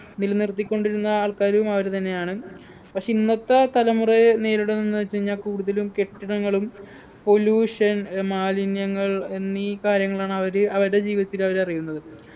നിലനിർത്തിക്കൊണ്ടിരുന്ന ആൾക്കാരും അവര് തന്നെയാണ് പക്ഷെ ഇന്നത്തെ തലമുറയെ നേരിടും എന്നു വെച്ച് കഴിഞ്ഞാ കൂടുതലും കെട്ടിടങ്ങളും pollution ഏർ മാലിന്യങ്ങൾ എന്നീ കാര്യങ്ങളാണ് അവര് അവരുടെ ജീവിതത്തിലവര് അറിയുന്നത്